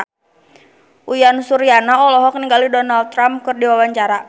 Uyan Suryana olohok ningali Donald Trump keur diwawancara